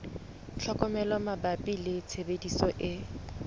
tlhokomelo mabapi le tshebediso e